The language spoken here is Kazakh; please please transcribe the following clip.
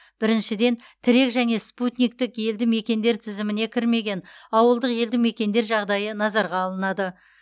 біріншіден тірек және спутниктік елді мекендер тізіміне кірмеген ауылдық елді мекендер жағдайы назарға алынады